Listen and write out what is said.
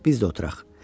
Biz də oturaq.